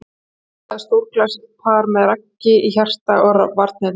Myndaði stórglæsilegt par með Ragga í hjarta varnarinnar.